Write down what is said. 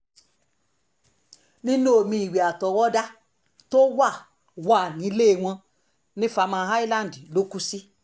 inú omi ìwé àtọwọ́dá tó wà wà nílẹ̀ wọn ní farmer island ló kù sí